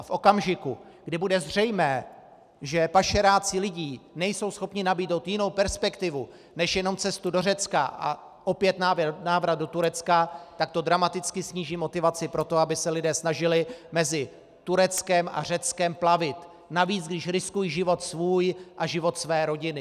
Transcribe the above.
A v okamžiku, kdy bude zřejmé, že pašeráci lidí nejsou schopni nabídnout jinou perspektivu než jenom cestu do Řecka a opět návrat do Turecka, tak to dramaticky sníží motivaci pro to, aby se lidé snažili mezi Tureckem a Řeckem plavit, navíc, když riskují život svůj a život své rodiny.